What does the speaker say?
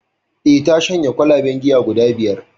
Eh ta shanye kwalaben giya guda biyar